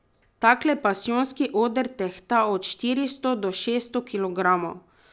Takle pasijonski oder tehta od štiristo do šeststo kilogramov!